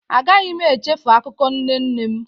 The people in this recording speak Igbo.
A gaghị m echefu akụkọ nne nne m.